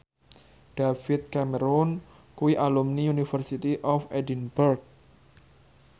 David Cameron kuwi alumni University of Edinburgh